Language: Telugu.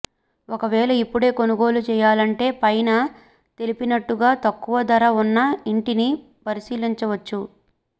ఒకవేళ ఇప్పుడే కొనుగోలు చేయాలంటే పైన తెలిపినట్టుగా తక్కువ ధర ఉన్న ఇంటిని పరిశీలించవచ్చు